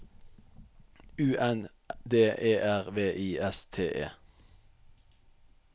U N D E R V I S T E